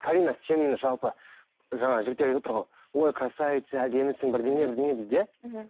карина сен жалпы жаңа жігіттер айтып отыр ғой ой красавица әдемісің бірдеңе бірдеңе дейді иә мхм